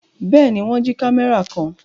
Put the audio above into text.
Bẹ́ẹ̀ ni, wọ́n jí kámẹ́rà kan.